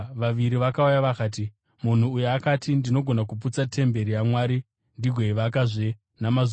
vakati, “Munhu uyu akati, ‘Ndinogona kuputsa temberi yaMwari ndigoivakazve namazuva matatu.’ ”